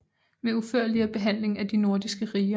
Med udførligere Behandling af de nordiske Riger